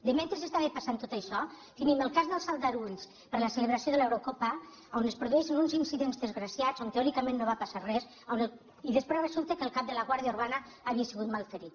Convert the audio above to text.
mentre estava passant tot això tenim el cas dels aldarulls per la celebració de l’eurocopa on es produeixen uns incidents desgraciats on teòricament no va passar res i després resulta que el cap de la guàrdia urbana havia sigut malferit